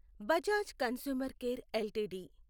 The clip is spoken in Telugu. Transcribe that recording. Bajaj consumer care LTD